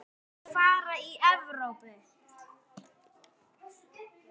Hvaða lið fara í Evrópu?